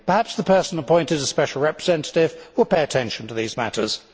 Perhaps the person appointed as a special representative will pay attention to these matters.